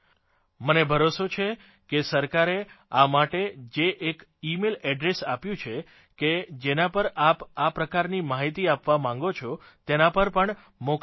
મને ભરોસો છે કે સરકારે આ માટે જે એક ઇમેઇલ એડ્રેસ આપ્યું છે કે જેના પર આપ આ પ્રકારની માહીતી આપવા માગો છે તેના પર પણ મોકલી શકો છો